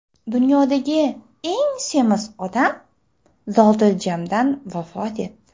Dunyodagi eng semiz odam zotiljamdan vafot etdi.